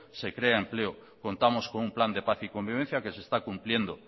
se crea empleo contamos con un plan de paz y convivencia que se está cumpliendo